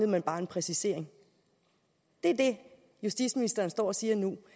man bare en præcisering det er det justitsministeren står og siger nu